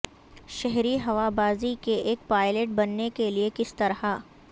شہری ہوا بازی کے ایک پائلٹ بننے کے لئے کس طرح